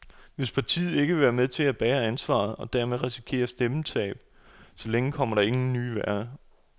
Hvis partiet ikke vil være med til at bære ansvaret, og dermed risikere stemmetab, så længe kommer der ingen nye værker.